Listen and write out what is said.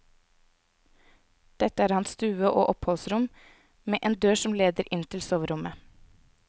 Dette er hans stue og oppholdsrom, med en dør som leder inn til soverommet.